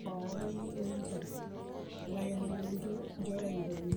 kake ore enetipat oleng, keponiki empoiron inkulupuok